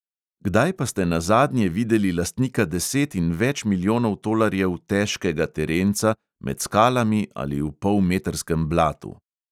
Kdaj pa ste nazadnje videli lastnika deset in več milijonov tolarjev "težkega" terenca med skalami ali v polmetrskem blatu?